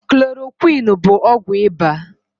Klorokwiini bụ ọgwụ ịba.